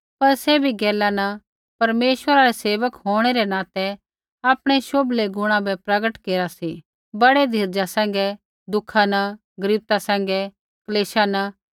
पर सैभी गैला न परमेश्वरै रै सेवक होंणै रै नाते आपणै शोभले गुणा बै प्रगट केरा सी बड़ै धीरजा सैंघै दुःखा न गरीबता सैंघै क्लेशा न